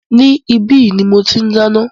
Ní ibi yìí ní mọ tí n dáná